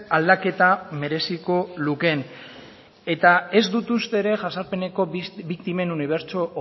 aldaketa mereziko lukeen eta ez dut uste ere jazarpeneko biktimen unibertso